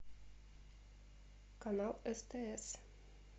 канал стс